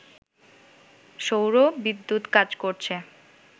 সৌর বিদ্যুৎ কাজ করছে